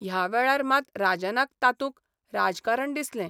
ह्या वेळार मात राजनाक तातूंत राजकारण दिसलें.